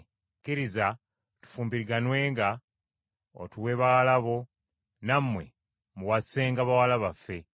Kkiriza tufumbiriganwenga, otuwe bawala bo, nammwe muwasenga bawala baffe.